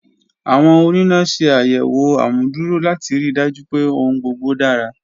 Awọn onina ṣe ayẹwo amuduro lati rii daju pe ohun gbogbo dara.